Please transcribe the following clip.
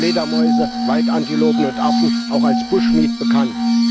Fledermäuse, Waldantilopen und Affen, auch als bushmeat bekannt.